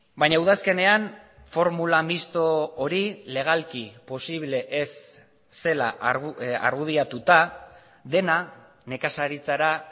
baina udazkenean formula misto hori legalki posible ez zela argudiatuta dena nekazaritzara